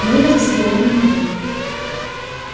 мюллер взглянул на него